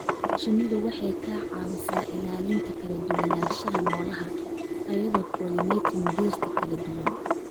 Shinnidu waxay ka caawisaa ilaalinta kala duwanaanshaha noolaha iyadoo pollinating dhirta kala duwan.